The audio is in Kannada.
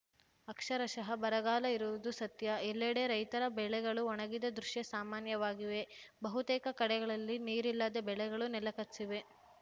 ಅಕ್ಷರಶಃ ಬರಗಾಲ ಇರುವುದು ಸತ್ಯ ಎಲ್ಲೆಡೆ ರೈತರ ಬೆಳೆಗಳು ಒಣಗಿದ ದೃಶ್ಯ ಸಾಮಾನ್ಯವಾಗಿವೆ ಬಹುತೇಕ ಕಡೆಗಳಲ್ಲಿ ನೀರಿಲ್ಲದೆ ಬೆಳೆಗಳು ನೆಲಕಚ್ಚಿವೆ